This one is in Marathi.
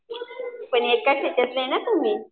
पण एकाच याच्यातले आहे ना तुम्ही?